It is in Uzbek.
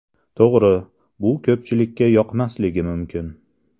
To‘g‘ri, bu ko‘pchilikka yoqmasligi mumkin.